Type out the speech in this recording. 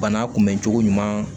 Bana kunbɛn cogo ɲuman